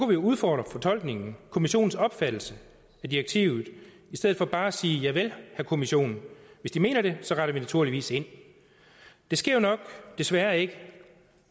vi udfordre fortolkningen kommissionens opfattelse af direktivet i stedet for bare at sige javel herre kommission hvis de mener det så retter vi naturligvis ind det sker jo nok desværre ikke